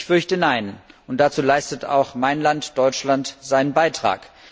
Ich fürchte nein, und dazu leistet auch mein Land, Deutschland, seinen Beitrag.